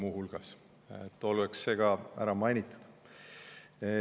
Et oleks see ka muu hulgas ära mainitud.